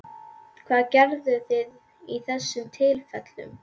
Hvað gerðuð þið í þessum tilfellum?